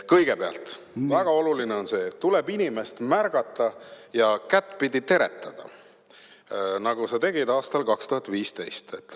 Kõigepealt, väga oluline on see, et tuleb inimest märgata ja kättpidi teretada, nagu sa tegid aastal 2015.